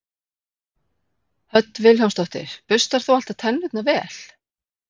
Hödd Vilhjálmsdóttir: Burstar þú alltaf tennurnar vel?